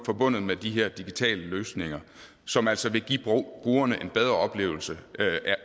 forbundet med de her digitale løsninger som altså vil give brugerne en bedre oplevelse